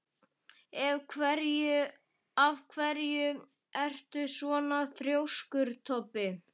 Af hverju ertu svona þrjóskur, Toddi?